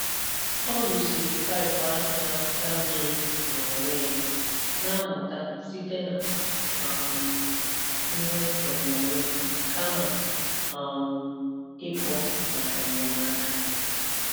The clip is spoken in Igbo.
Ọ rụziri paịpụ ahụ na-apụta mmiri n'onwe ya, na-amụta site na um ihe onyonyoo kama um ịkpọ maka enyemaka.